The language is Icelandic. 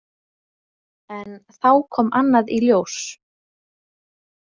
En þá kom annað í ljós.